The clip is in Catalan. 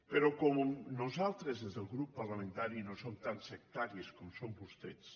però com nosaltres des del grup parlamentari no som tan sectaris com són vostès